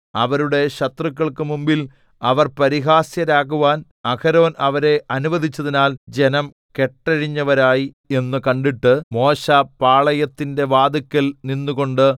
അവരുടെ ശത്രുക്കൾക്കു മുമ്പിൽ അവർ പരിഹാസ്യരാകുവാൻ അഹരോൻ അവരെ അനുവദിച്ചതിനാൽ ജനം കെട്ടഴിഞ്ഞവരായി എന്നു കണ്ടിട്ട് മോശെ പാളയത്തിന്റെ വാതില്ക്കൽ നിന്നുകൊണ്ടു